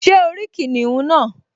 Ṣé o rí kìnìún náà?